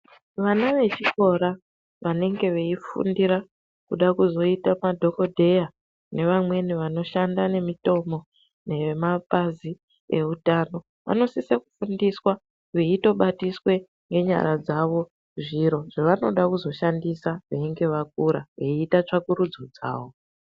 Vana vechikora vanenge vachifundira kuzoita madhokodheya nevamweni vanoshanda nemitombo yemapazi vehutano vanosisa kufundiswa veitobatiswa nenyara dzawo zviro zvavanoda kuzoshandiswa veinge vakura veita tsvakurudzo dzawo.